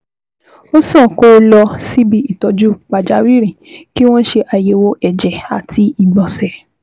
Ó sàn kó o lọ síbi ìtọ́jú pàjáwìrì, kí wọ́n ṣe àyẹ̀wò ẹ̀jẹ̀, ìtọ̀, àti ìgbọ̀nsẹ̀